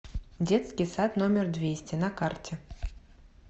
детский сад номер двести на карте